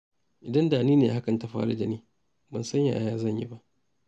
Idan da ni ne hakan ta faru da ni, ban san yaya zan yi ba.